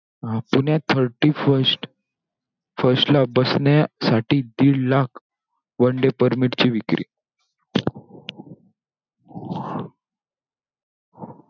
अं पुण्यात thirty first first ला बसण्यासाठी दीड लाख one day permit ची विक्री.